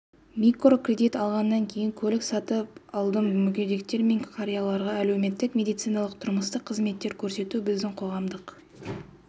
микрокредит алғаннан кейін көлік сатып алдым мүгедектер мен қарияларға әлеуметтік медициналық тұрмыстық қызметтер көрсету біздің қоғамдық